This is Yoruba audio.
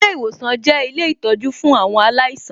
Ilé ìwòsan jẹ́ ilé ìtọjú fún àwọn aláìsàn